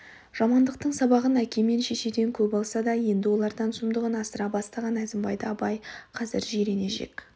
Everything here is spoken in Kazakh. жамандықтың сабағын әке мен шешеден көп алса да еңді олардан сұмдығын асыра бастаған әзімбайды абай қазір жирене жек